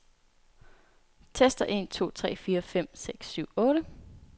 Tester en to tre fire fem seks syv otte.